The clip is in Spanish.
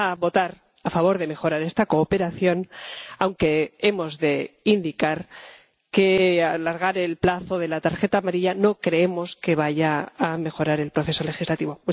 Vamos a votar a favor de mejorar esta cooperación, aunque hemos de indicar que alargar el plazo de la tarjeta amarilla no creemos que vaya a mejorar el proceso legislativo.